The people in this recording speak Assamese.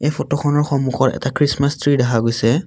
এই ফটোখনৰ সন্মুখত এটা খ্ৰীষ্টমাছ ট্ৰী দেখা গৈছে।